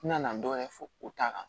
N nana dɔ wɛrɛ fɔ o ta kan